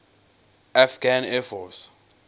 afghan air force